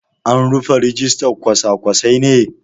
An rufe rijistan kwasa-kwasai ne?